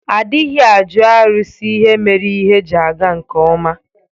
Adịghị ajụ arụsi ihe mere ihe ji aga nkeọma.